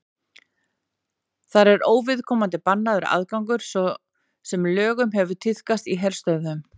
þar er óviðkomandi bannaður aðgangur svo sem löngum hefur tíðkast í herstöðvum